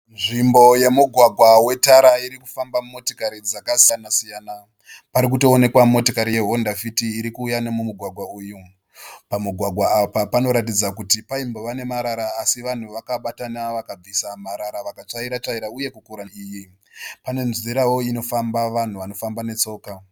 Nzvimbo yemugwagwa wetara iri kufamba motikari dzakasiyana siyana. Pari kutoonekwa motikari ye hondafiti iri kuuya nemumugwagwa uyu. Pamugwagwa apa panoratidza kuti paimbova nemarara asi vanhu vakabatana vakabvisa mara vakatsvaira tsvaira uye kukura iyi. Pane nzirawo inofamba vanhu vanofamba netsoka.